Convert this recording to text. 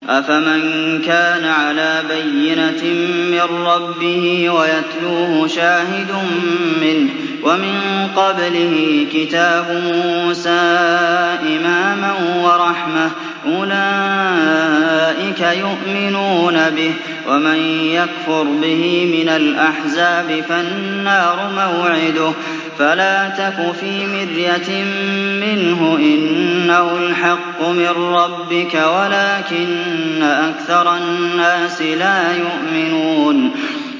أَفَمَن كَانَ عَلَىٰ بَيِّنَةٍ مِّن رَّبِّهِ وَيَتْلُوهُ شَاهِدٌ مِّنْهُ وَمِن قَبْلِهِ كِتَابُ مُوسَىٰ إِمَامًا وَرَحْمَةً ۚ أُولَٰئِكَ يُؤْمِنُونَ بِهِ ۚ وَمَن يَكْفُرْ بِهِ مِنَ الْأَحْزَابِ فَالنَّارُ مَوْعِدُهُ ۚ فَلَا تَكُ فِي مِرْيَةٍ مِّنْهُ ۚ إِنَّهُ الْحَقُّ مِن رَّبِّكَ وَلَٰكِنَّ أَكْثَرَ النَّاسِ لَا يُؤْمِنُونَ